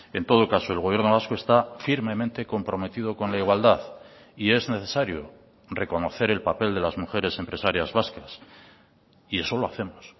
en todo caso el gobierno vasco está firmemente comprometido con la igualdad y es necesario reconocer el papel de las mujeres empresarias vascas y eso lo hacemos